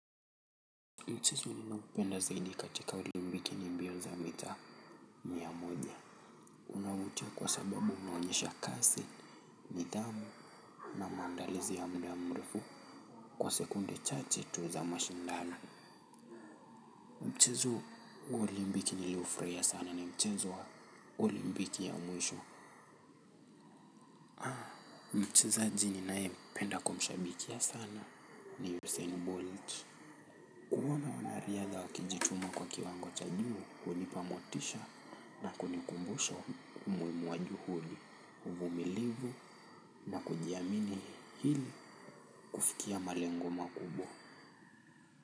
Mchezo ninaopenda zaidi katika olimpiki ni mbio za mita mia moja. Unavutia kwa sababu unaonyesha kasi. Nidhamu na maandalizi ya mda mrefu kwa sekunde chache tu za mashindano mchezo wa olimpiki niliofurahia sana ni mchezo wa olimpiki ya mwisho mchezaji ninayependa kumshabikia sana ni Usain Bolt kuona wanariadha wakijituma kwa kiwango cha juu, hunipa motisha na kunikumbusha umuhimu wa juhudi, uvumilivu na kujiamini hili kufikia malengo makubwa.